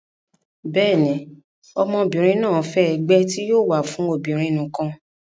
bẹ́ẹ̀ni, ọmọbìnrin náà fẹ́ ẹgbẹ́ tí yóò wà fún obìnrin nìkan